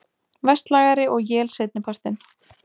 Vestlægari og él seinni partinn